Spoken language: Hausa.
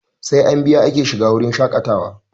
Sai an biya ake shiga wurin shaƙatawa